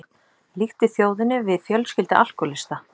Líkti þjóðinni við fjölskyldu alkóhólista